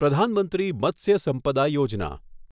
પ્રધાન મંત્રી મત્સ્ય સંપદા યોજના